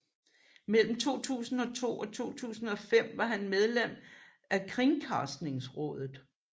Mellem 2002 og 2005 var han medlem af Kringkastingsrådet